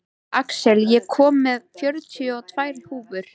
Axel, ég kom með fjörutíu og tvær húfur!